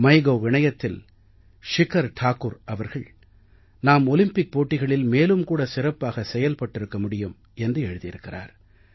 MyGov இணையத்தில் ஷிகர் டாகுர் அவர்கள் நாம் ஒலிம்பிக் போட்டிகளில் மேலும் கூட சிறப்பாக செயல்பட்டிருக்க முடியும் என்று எழுதியிருக்கிறார்